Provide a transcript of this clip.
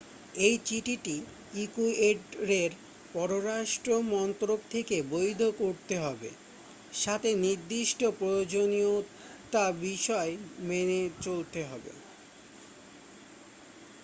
এই চিঠিটি ইকুয়েডরের পররাষ্ট্র মন্ত্রক থেকে বৈধ করতে হবে সাথে নির্দিষ্ট প্রয়োজনীয়ত বিষয় মেনে চলতে হবে